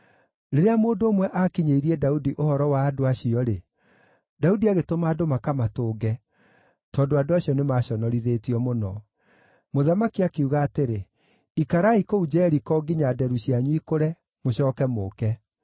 Rĩrĩa mũndũ ũmwe aakinyĩirie Daudi ũhoro wa andũ acio-rĩ, Daudi agĩtũma andũ makamatũnge, tondũ andũ acio nĩmaconorithĩtio mũno. Mũthamaki akiuga atĩrĩ, “Ikarai kũu Jeriko nginya nderu cianyu ikũre, mũcooke mũũke.”